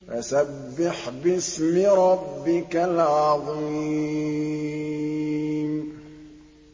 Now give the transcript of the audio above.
فَسَبِّحْ بِاسْمِ رَبِّكَ الْعَظِيمِ